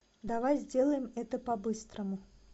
давай сделаем это по быстрому